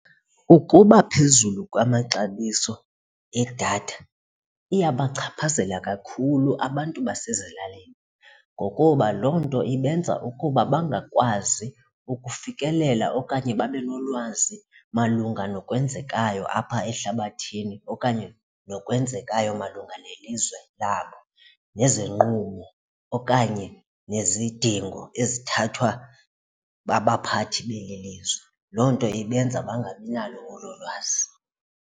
Ukuba phezulu kwamaxabiso edatha iyabachaphazela kakhulu abantu basezilalini ngokuba loo nto ibenza ukuba bangakwazi ukufikelela okanye babe nolwazi malunga nokwenzekayo apha ehlabathini okanye nokwenzekayo malunga nelizwe labo nezinqubo okanye nezidingo ezithathwa babaphathi beli lizwe. Loo nto ibenza bangabinalo olo lwazi.